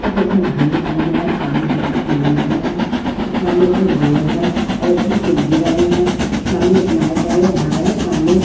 घर दिखाई दे रा है सामने और सामने एक बोर्ड है और भी है सामने एक है घर है सामने--